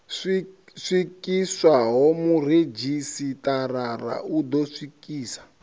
swikiswaho muredzhisitarara u ḓo swikisa